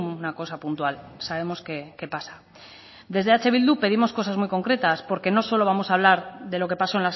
una cosa puntual sabemos que pasa desde eh bildu pedimos cosas muy concretas porque no solo vamos a hablar de lo que pasó